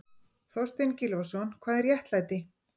Þorstein Gylfason, Hvað er réttlæti?